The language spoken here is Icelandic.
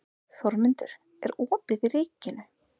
Þórmundur, er opið í Ríkinu?